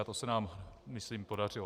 A to se nám myslím podařilo.